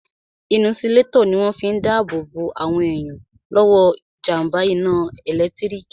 Inisulétọ̀ ní wọ́n fi n dá ààbò bo àwọn èèyàn lọ́wọ́ jàmbá iná ẹ̀lẹ́tírík